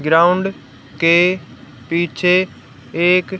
ground के पीछे एक--